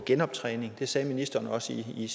genoptræning det sagde ministeren også i